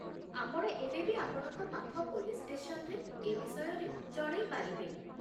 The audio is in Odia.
ଆପଣ ଏବେ ବି ଆପଣଙ୍କ ପାଖ ପୋଲିସ୍ ଷ୍ଟେସନରେ ଏ ବିଷୟରେ ଜଣେଇପାରିବେ ।